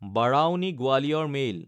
বাৰাউনি–গোৱালিয়ৰ mail